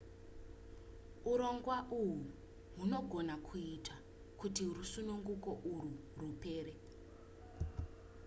urongwa uhwu hunogona kuita kuti rusununguko urwu rupere